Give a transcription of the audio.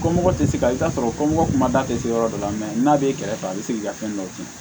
Ko mɔgɔ tɛ se ka i t'a sɔrɔ ko mɔgɔ ma taa tɛ se yɔrɔ dɔ la n'a b'e kɛrɛfɛ a bɛ segin k'i ka fɛn dɔ tiɲɛ